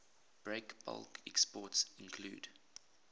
breakbulk exports include